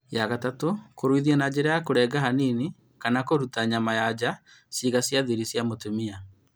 Ya gatatù; kũruithia na njĩra ya kũrenga hanini kana kũruta nyama ya nja ciĩga cia thiri cia atumia